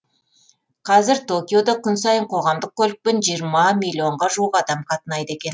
қазір токиода күн сайын қоғамдық көлікпен жиырма миллионға жуық адам қатынайды екен